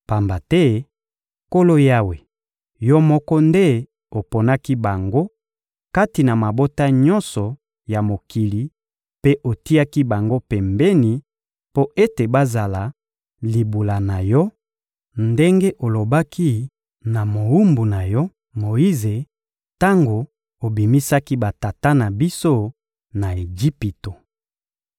Pamba te, Nkolo Yawe, Yo moko nde oponaki bango kati na mabota nyonso ya mokili mpe otiaki bango pembeni, mpo ete bazala libula na Yo ndenge olobaki na mowumbu na Yo, Moyize, tango obimisaki batata na biso na Ejipito.»